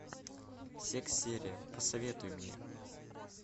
секс серия посоветуй мне